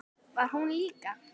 Var hún líka?